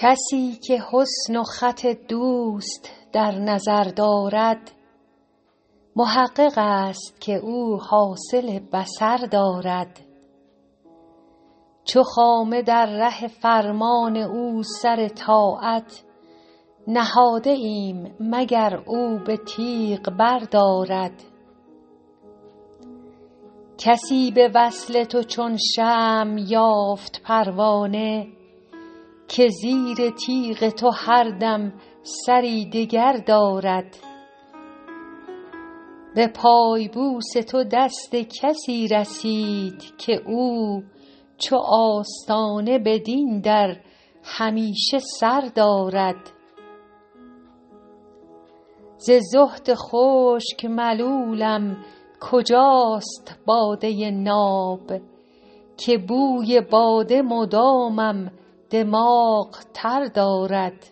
کسی که حسن و خط دوست در نظر دارد محقق است که او حاصل بصر دارد چو خامه در ره فرمان او سر طاعت نهاده ایم مگر او به تیغ بردارد کسی به وصل تو چون شمع یافت پروانه که زیر تیغ تو هر دم سری دگر دارد به پای بوس تو دست کسی رسید که او چو آستانه بدین در همیشه سر دارد ز زهد خشک ملولم کجاست باده ناب که بوی باده مدامم دماغ تر دارد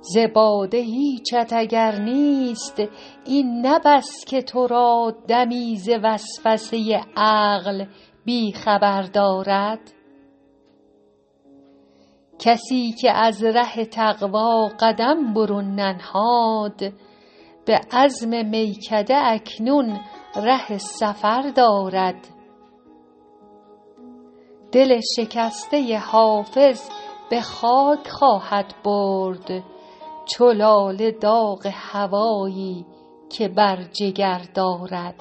ز باده هیچت اگر نیست این نه بس که تو را دمی ز وسوسه عقل بی خبر دارد کسی که از ره تقوا قدم برون ننهاد به عزم میکده اکنون ره سفر دارد دل شکسته حافظ به خاک خواهد برد چو لاله داغ هوایی که بر جگر دارد